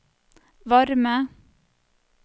varme